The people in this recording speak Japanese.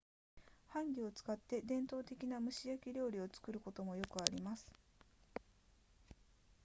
ハンギを使って伝統的な蒸し焼き料理を作ることもよくあります